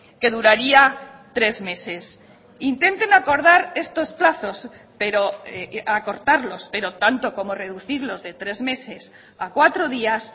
que duraría tres meses intenten acordar estos plazos pero acortarlos pero tanto como reducirlos de tres meses a cuatro días